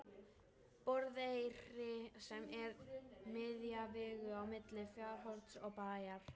Borðeyri sem er miðja vegu á milli Fjarðarhorns og Bæjar.